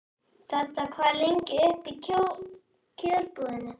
Dedda, hvað er lengi opið í Kjörbúðinni?